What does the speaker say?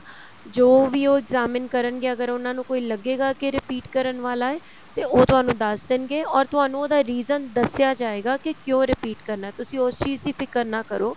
ਜੋ ਵੀ ਉਹ examine ਕਰਨਗੇ ਅਗਰ ਉਹਨਾ ਨੂੰ ਕੋਈ ਲੱਗੇਗਾ ਕੀ repeat ਕਰਨ ਵਾਲਾ ਏ ਤੇ ਉਹ ਤੁਹਾਨੂੰ ਦੱਸ ਦੇਣ ਗੇ or ਤੁਹਾਨੂੰ ਉਹਦਾ reason ਦੱਸਿਆ ਜਾਏਗਾ ਕੀ ਕਿਉਂ repeat ਕਰਨਾ ਤੁਸੀਂ ਉਸ ਚੀਜ਼ ਦੀ ਫਿਕਰ ਨਾ ਕਰੋ